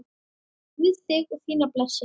Guð þig og þína blessi.